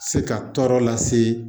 Se ka tɔɔrɔ lase